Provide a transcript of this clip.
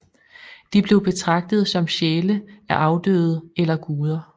De blev betragtet som sjæle af afdøde eller guder